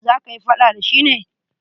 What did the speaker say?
Za kayi faɗa da shi ne?